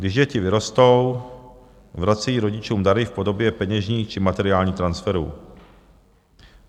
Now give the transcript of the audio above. Když děti vyrostou, vracejí rodičům dary v podobě peněžních či materiálních transferů.